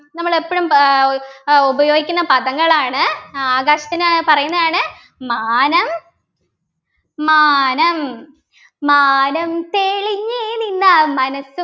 നമ്മൾ എപ്പോഴും ഏർ ഏർ ഉപയോഗിക്കുന്ന പദങ്ങളാണ് ആകാശത്തിന് പറയുന്നതാണ് മാനം മാനം മാനം തെളഞ്ഞ് നിന്നാൽ മനസ്